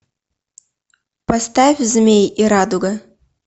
поставь змей и радуга